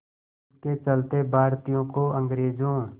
इसके चलते भारतीयों को अंग्रेज़ों